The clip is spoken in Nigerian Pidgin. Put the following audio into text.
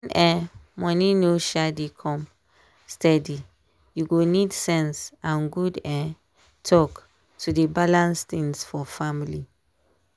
when um money no um dey come steady you go need sense and good um talk to dey balance things for family.